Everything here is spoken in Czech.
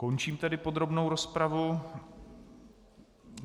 Končím tedy podrobnou rozpravu.